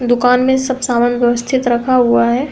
दुकान में सब सामान व्यवस्तिथ रखा हुआ है।